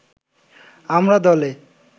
আমরা দলে